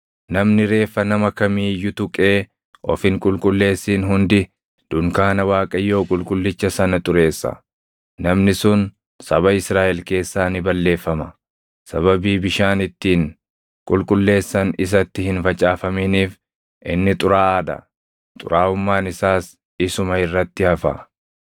Namni reeffa nama kamii iyyuu tuqee of hin qulqulleessin hundi dunkaana Waaqayyoo qulqullicha sana xureessa. Namni sun saba Israaʼel keessaa ni balleeffama. Sababii bishaan ittiin qulqulleessan isatti hin facaafaminiif inni xuraaʼaa dha; xuraaʼummaan isaas isuma irratti hafa.